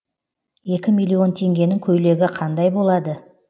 екі миллион теңгенің көйлегі қандай болады